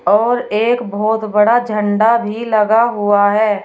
और एक बहुत बड़ा झंडा भी लगा हुआ है।